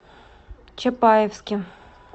чапаевске